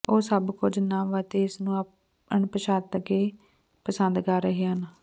ਉਹ ਸਭ ਕੁਝ ਨਵ ਅਤੇ ਇਸ ਨੂੰ ਅਣਪਛਾਤਾ ਕੇ ਪਸੰਦ ਕਰ ਰਹੇ ਹਨ